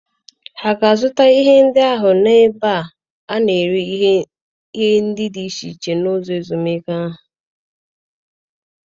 Ha ga-azụta ihe ndị ahụ n'ebe a na-ere ihe dị iche iche n'ụlọ ezumike ahụ?